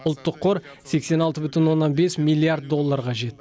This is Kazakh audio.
ұлттық қор сексен алты бүтін оннан бес миллиард долларға жетті